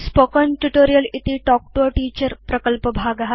spoken tutorial इति talk to a teacher प्रकल्पभाग